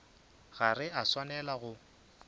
ga re a swanela go